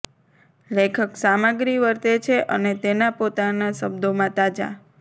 લેખક સામગ્રી વર્તે છે અને તેના પોતાના શબ્દોમાં તાજા